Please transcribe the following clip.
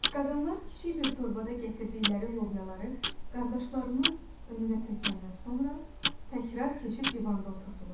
Qadınlar kiçik bir torbada gətirdikləri lobyaları qardaşlarının önünə tökəndən sonra təkrar keçib divanda oturdular.